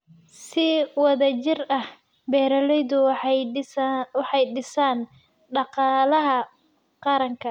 Si wada jir ah, beeralaydu waxay dhisaan dhaqaalaha qaranka.